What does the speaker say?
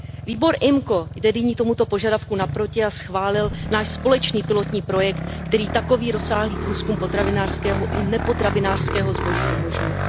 Výbor IMCO jde nyní tomuto požadavku naproti a schválil náš společný pilotní projekt, který takový rozsáhlý průzkum potravinářského i nepotravinářského zboží umožňuje.